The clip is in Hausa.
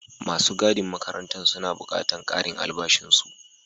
Masu gadin makarantan suna buƙatan ƙarin albashin su.